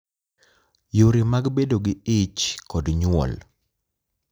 Yore mag bedo gi ich kod nyuol ,